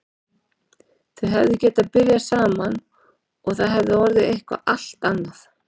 Þau hefðu getað byrjað saman og það hefði orðið eitthvað allt annað.